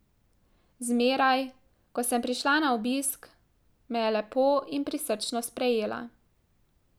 Zmeraj, ko sem prišla na obisk, me je lepo in prisrčno sprejela.